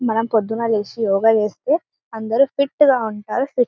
మనం ప్రొద్దున్న లేచి యోగ చేస్తే అందరూ ఫిట్ గ ఉంటారు ఫిట్ --